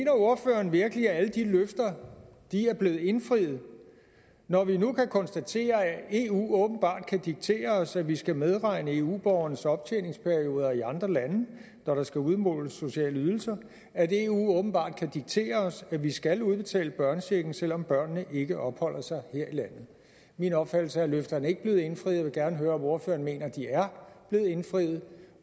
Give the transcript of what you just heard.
ordføreren virkelig at alle de løfter er blevet indfriet når vi nu kan konstatere at eu åbenbart kan diktere os at vi skal medregne eu borgernes optjeningsperioder i andre lande når der skal udmåles sociale ydelser at eu åbenbart kan diktere os at vi skal udbetale børnechecken selv om børnene ikke opholder sig her i landet min opfattelse er at løfterne ikke er blevet indfriet vil gerne høre om ordføreren mener at de er blevet indfriet